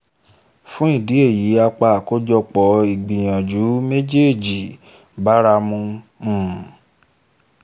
fún ìdí èyí apá àkójọpọ̀ ìgbìyànjú méjèjì báramu um